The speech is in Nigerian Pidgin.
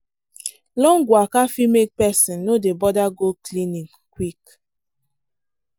long waka fit make person no dey bother go clinic quick.